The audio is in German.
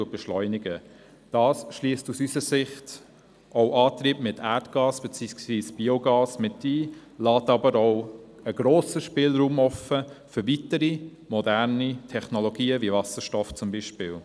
Dies schliesst aus unserer Sicht Antriebe mit Erdgas beziehungsweise Biogas mit ein, lässt aber auch einen grossen Spielraum für weitere, moderne Technologien wie Wasserstoff offen.